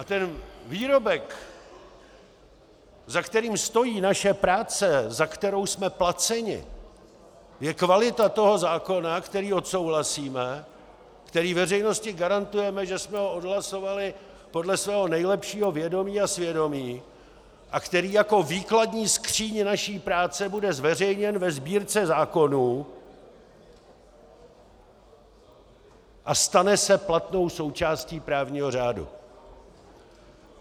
A ten výrobek, za kterým stojí naše práce, za kterou jsme placeni, je kvalita toho zákona, který odsouhlasíme, který veřejnosti garantujeme, že jsme ho odhlasovali podle svého nejlepšího vědomí a svědomí, a který jako výkladní skříň naší práce bude zveřejněn ve Sbírce zákonů a stane se platnou součástí právního řádu.